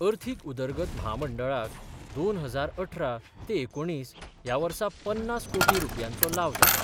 अर्थीक उदरगत म्हामंडळाक दोन हजार अठरा ते एकुणीस ह्या वर्सा पन्नास कोटी रुपयांचो लाव जालो.